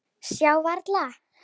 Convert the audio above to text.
Sjá varla.